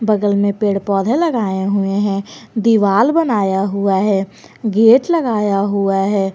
बगल में पेड़ पौधे लगाए हुए हैं दीवाल बनाया हुआ है गेट लगाया हुआ है।